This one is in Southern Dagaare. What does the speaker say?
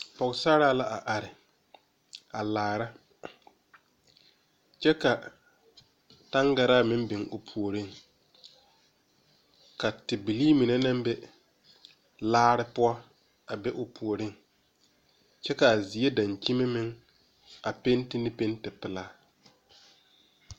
Pɔgesera la a are a laara kyɛ ka taŋgara meŋ biŋ o puori ka tebilee mine naŋ be laara poɔ a be o puori kyɛ kaa zie dankyini meŋ a peŋti ne peŋti pelaa.